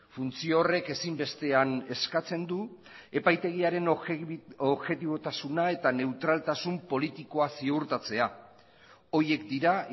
funtzio horrek ezinbestean eskatzen du epaitegiaren objetibotasuna eta neutraltasun politikoa ziurtatzea horiek dira